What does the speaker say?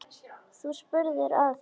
Þú spurðir að þessu.